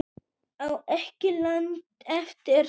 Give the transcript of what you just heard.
Á ekki langt eftir